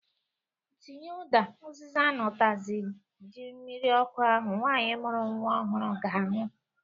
Tinye ụda, uziza na utazi na ji mmiri ọkụ ahụ nwanyị mụrụ nwa ọhụrụ ga-anwụ